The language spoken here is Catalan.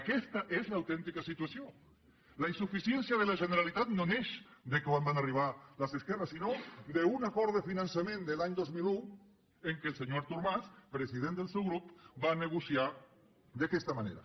aquesta és l’autèntica situació la insuficiència de la generalitat no neix de quan van arribar les esquerres sinó d’un acord de finançament de l’any dos mil un en què el senyor artur mas president del seu grup va negociar d’aquesta manera